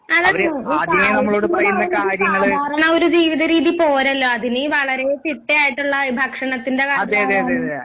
അതെ അതെ ഒരു കാര്യത്തിന് പറയുന്നത് ഒരു സാധാരണ ഒരു ജീവിത രീതി പോരല്ലോ അതില് വളരെ ചിട്ടയായിട്ടുള്ള ഭക്ഷണത്തിന്റെ കാര്യങ്ങളായാലും